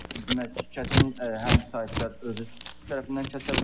Demək, kəsim həm sahibkar özü tərəfindən kəsə bilər.